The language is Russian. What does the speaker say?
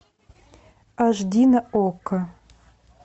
аш ди на окко